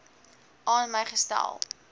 aan my gestel